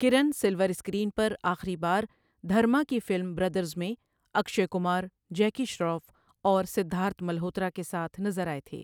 کِرن silver screen پر آخری بار دھرما کی فلم بردرز میں اکشے کمار، جیکی شراف اور سدھارتھ ملہوترا کے ساتھ نظر آئے تھے۔